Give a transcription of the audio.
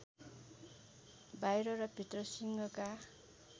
बाहिर र भित्र सिंहका